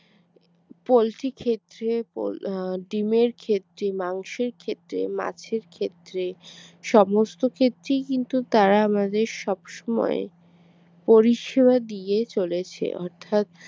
poultry ক্ষেত্রে ডিমের ক্ষেত্রে মাংসের ক্ষেত্রে মাছের ক্ষেত্রে সমস্ত ক্ষেত্রেই কিন্তু তারা আমাদের সব সময় পরিষেবা দিয়ে চলেছে অর্থাৎ